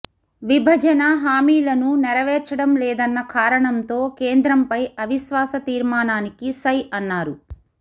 విభజన హామీలను నెరవేర్చడం లేదన్న కారణంతో కేంద్రంపై అవిశ్వాస తీర్మానానికి సై అన్నారు